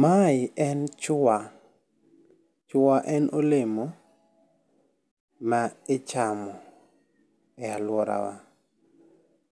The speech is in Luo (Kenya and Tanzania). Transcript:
Ma e en chwa. Chwa en olemo ma ichamo e aluora wa.